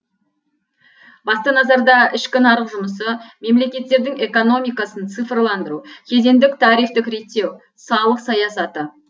басты назарда ішкі нарық жұмысы мемлекеттердің экономикасын цифрландыру кедендік тарифтік реттеу салық саясаты